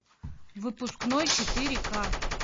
выпускной четыре ка